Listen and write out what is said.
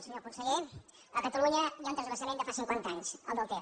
senyor conseller a catalunya hi ha un transvasament de fa cinquanta anys el del ter